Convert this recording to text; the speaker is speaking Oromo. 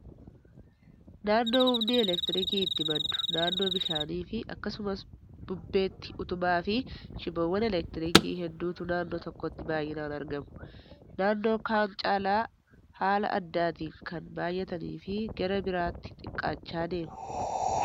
Naannoo humni elektiriikii itti maddu naannoo bishaanii fi akkasumas bubbeetti utubaa fi shiboowwan elektiriikii hedduutu naannoo tokkotti baay'inaan argamu. Naannoo kaan caalaa haala addaatiin kan baay'atnii fi gara biraatti xiqqaachaa deemu.